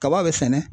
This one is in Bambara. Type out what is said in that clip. Kaba be sɛnɛ